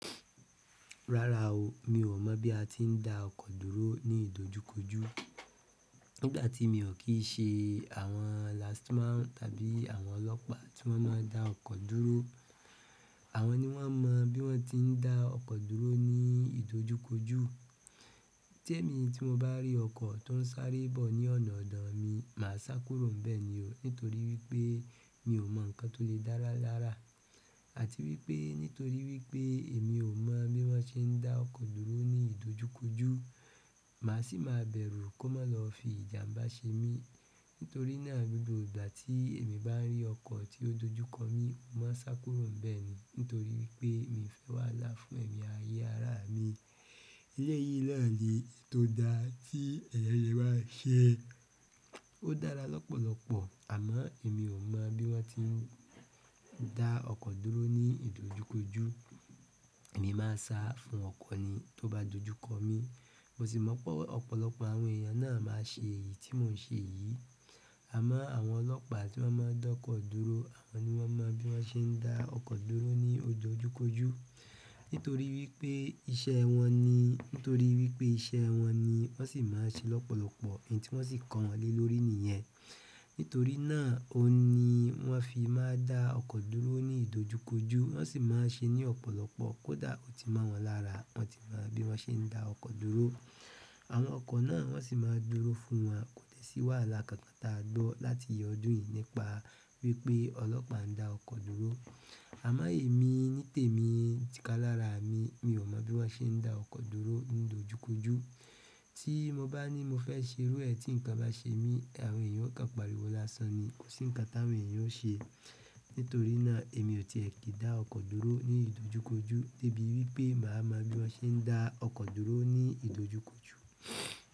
Rara o, mio mo bi a ti n da oko dúró ni idojukoju. Nígbà tí mi ò kí i ṣe àwọn last man tàbí àwọn ọlọ́pàá tí wọ́n máa ń dá ọkọ̀ dúró. Àwọn ni wọ́n mo bí wọ́n ti ń dá ọkọ̀ dúró ní ìdojúkojú. Témi tí mo bá rí ọkọ̀ tó ń sáré bọ̀ ní ọ̀nà ọ̀dọ̀ mi, màá sá kúrò níbẹ̀ ni o, nítorí wípé mi ò mọ ǹkan tó lè dára lára. Àti wípé nítorí wípé èmi ò mọ̀ bí wọ́n ṣe ń dá ọkọ̀ dúró ní ìdojúkojú, màá sì máa bẹ̀rù kó má lọ fi ìjànbá ṣe mí. Nítorí náà, gbogbo ìgbà tí èmi bá ń rí ọkọ̀ tí ó dojú kọ mí, mo máa sá kúrò níbẹ̀ ni, nítorí wípé mi ò fẹ́ wàhálà fún ẹ̀mí ayé ará mi. Eleyí naani èyí tó da tí eeyan le maa ṣe, ó dára lọ́pọ̀lọpọ̀, àmọ́ èmi ò mọ̀ bí wọ́n ti ń dá ọkọ̀ dúró ní ìdojúkojú. Èmi máa ń sá fún ọkọ̀ ni tó bá dojú kọ mí. Mo sì mọ̀ pé ọ̀pọ̀lọpọ̀ àwọn èèyàn yà náà máa ṣe èyí tí mò ń ṣe yìí. Àmọ́ àwọn ọlọ́pàá tí wọ́n máa ń dá ọkọ̀ dúró, àwọn ni wọ́n mọ bí wọ́n ṣe ń dá ọkọ̀ dúró ní ojúkojú. Nítorí wípé iṣẹ́ wọn ni, nítorí wípé iṣẹ́ wọn ni wọ́n sì máa ń ṣe é lọ́pọ̀lọpọ̀, èyí tí wọ́n sì kan wọ́n lé lórí nìyẹn. Nítorí náà o ni wọ́n fi máa ń dá ọkọ̀ dúró ní ìdojúkojú, wọ́n sì máa ń ṣe é ní ọ̀pọ̀lọpọ̀, kódà ó ti mọ́ wọn lára, wọ́n ti mọ̀ bí wọ́n ṣe ń dá ọkọ̀ dúró. Àwọn ọkọ̀ náà wọ́n sì máa ń dúró fún wọn, kò dẹ̀ sí wáhàlà kan kan táa gbọ́ láti ọdún yìí nípa wípé ọlọ́pàá ń dá ọkọ̀ dúró. Àmọ́ èmi nítèmi, tíkà lára mi, mi ò mọ̀ bí wọ́n ṣe ń dá ọkọ̀ dúró ní ìdojúkojú. Tí mo bá ní mo fẹ́ ṣeru ẹ̀ tí ǹkan bá ṣe mí, àwọn èèyàn ó kàn pariwo lásán ni, kò sí ǹkan táwọn èèyàn ó ṣe. Nítorí náà èmi ò tiẹ̀ kì í dá ọkọ̀ dúró ní ìdojúkojú débi wípé màá mọ bí wọ́n ṣe ń dá ọkọ̀ dúró ní ìdojúkojú.